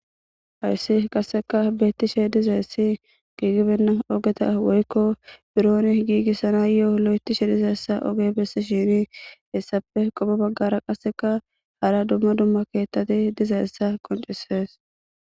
hayssi qasseka beettishe dizayessi giigibenna ogeta woykko birooni giigissana yo7o lo7etishe dizayssa oge besi shini hessafe qopo baggara qasseka hara dumma dumma keettati dizayessa qoncisees